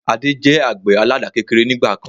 Adé jẹ àgbẹ̀ àládà kékeré ni ìgbàkan